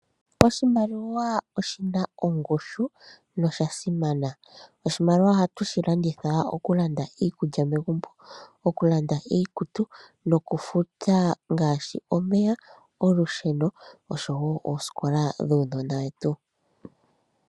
Oshimaliwa oshina ongushu no shasimana. Oshimaliwa ohatu shi landitha, okulanda iikulya megumbo, okulanda iikutu, noku futa ngaashi omeya, olusheno oshowo oosikola dhuunona wetu.